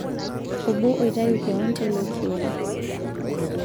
Obo oitayu keon teilo kioma